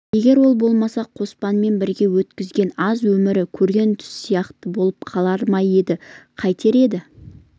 егер ол болмаса қоспанмен бірге өткізген аз өмірі көрген түс сияқты болып қалар ма еді қайтер еді